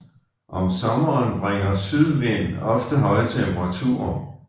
Om sommeren bringer sydvind ofte høje temperaturer